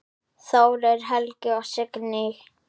Þórir Helgi og Signý.